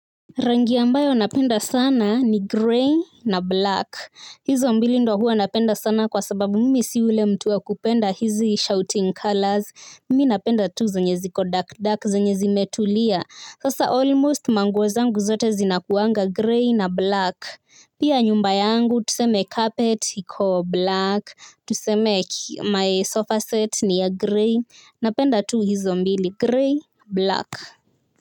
Rangi ambayo napenda sana ni grey na black hizo mbili ndio huwa napenda sana kwa sababu mimi si yule mtu wa kupenda hizi shouting colors mimi napenda tu zenye ziko dark dark zenye zimetulia sasa almost manguo zangu zote zina kuwanga grey na black pia nyumba yangu tuseme carpet iko black tuseme my sofa set ni ya grey napenda tu hizo mbili grey black.